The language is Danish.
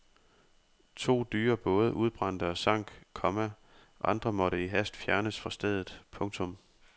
To dyre både udbrændte og sank, komma andre måtte i hast fjernes fra stedet. punktum